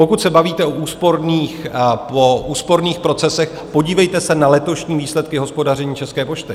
Pokud se bavíte o úsporných procesech, podívejte se na letošní výsledky hospodaření České pošty.